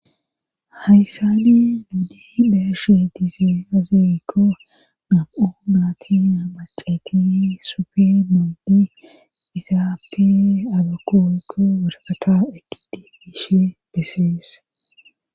hayssali nudi dheeshe dizee azeekko mam7o maatina maceti sufe moodi izaape agakowoykko warakata ekiti biishe besees